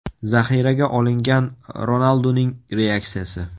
Zaxiraga olingan Ronalduning reaksiyasi.